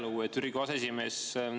Lugupeetud Riigikogu aseesimees!